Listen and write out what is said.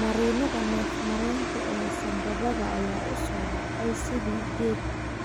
Marinnada neef-mareenka ee sambabada ayaa u soo baxay sidii geed